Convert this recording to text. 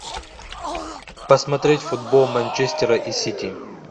посмотреть футбол манчестера и сити